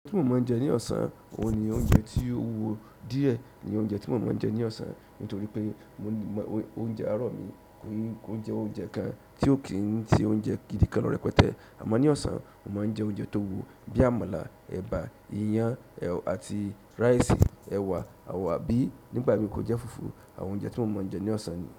Ti mò ń máa ń jẹ ní ọ̀sán, òun ni oúnjẹ tí ó wúwo díẹ̀ ni oúnjẹ tí mò ń máa ń jẹ ní ọ̀sán. Nítorí pé oúnjẹ àárọ̀ mi, o jẹ oúnjẹ kan tí ó kì í n ti oúnjẹ gidi kan lọ̀ rẹpẹtẹ. Àmọ́ ní ọ̀sán, mò ń máa ń jẹ oúnjẹ tó wúwo bíi àmàlà, ẹ̀bà, iyán àti rice, ẹ̀wà àbí nígbà mí kó jẹ́ fùfú àwọn oúnjẹ tí mò ń máa ń jẹ ní ọ̀sán ni.